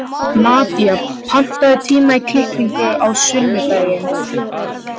Nadía, pantaðu tíma í klippingu á sunnudaginn.